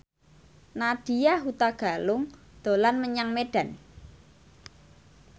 Nadya Hutagalung dolan menyang Medan